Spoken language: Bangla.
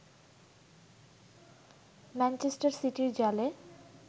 ম্যানচেস্টার সিটির জালে